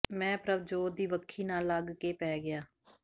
ਮੈਂ ਪ੍ਰਭਜੋਤ ਦੀ ਵੱਖੀ ਨਾਲ ਲੱਗ ਕੇ ਪੈ ਗਿਆ